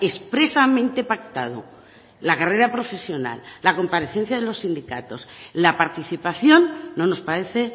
expresamente pactado la carrera profesional la comparecencia de los sindicatos la participación no nos parece